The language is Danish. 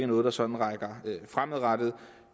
noget der sådan rækker fremad